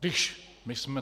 Když my jsme...